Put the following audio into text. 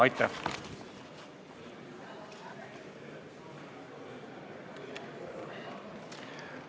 Aitäh!